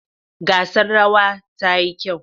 Gasar rawa ta yi kyau.